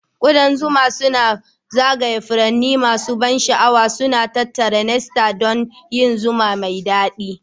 Ƙudan zuma suna zagaya furanni masu ban sha'awa, suna tattara nectar don yin zuma mai daɗi